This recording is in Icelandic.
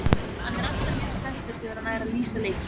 Hann er alltaf mjög spenntur þegar hann er að lýsa leikjum.